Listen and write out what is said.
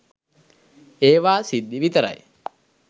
ඒවා සිද්ධි විතරයි